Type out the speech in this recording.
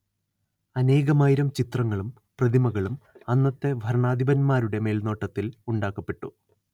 അനേകമായിരം ചിത്രങ്ങളും പ്രതിമകളും അന്നത്തെ ഭരണാധിപന്മാരുടെ മേൽനോട്ടത്തിൽ ഉണ്ടാക്കപ്പെട്ടു